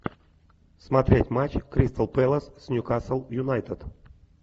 смотреть матч кристал пэлас с ньюкасл юнайтед